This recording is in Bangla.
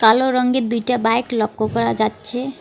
কালো রংগের দুইটা বাইক লক্ষ্য করা যাচ্ছে।